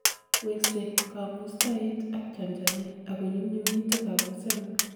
weksei kongustoet ak chamchamet, ako nyumnyumitu kabusetngung